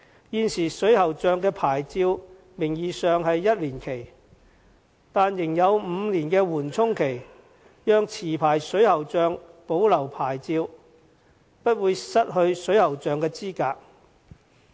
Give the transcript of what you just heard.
現時，水喉匠的牌照名義上是1年期，但仍有5年緩衝期，讓持牌水喉匠保留牌照，不會失去水喉匠的資格。